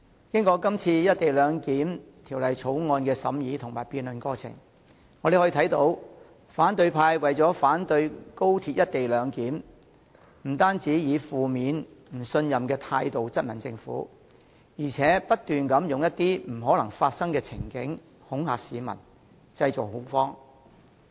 經過今次《條例草案》的審議和辯論過程，我們看到反對派為了反對廣深港高速鐵路的"一地兩檢"安排，不但以負面及不信任的態度質問政府，更不斷提出一些不可能發生的情境恐嚇市民，製造恐慌。